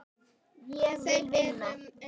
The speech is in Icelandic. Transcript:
Þeir eru æði margir.